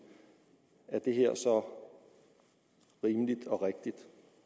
er det her så rimeligt og rigtigt